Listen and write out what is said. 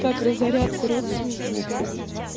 как разоряться родственникам блин